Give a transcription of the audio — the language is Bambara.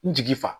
N jigi fa